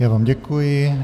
Já vám děkuji.